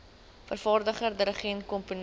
vervaardiger dirigent komponis